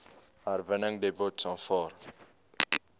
herwinningsdepots aanvaar